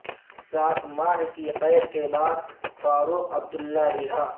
سات ماہ کی قید کے بعد فاروق عبداللہ رہا